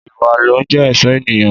Ìwá ló ń jẹ ẹsọ ẹniyan.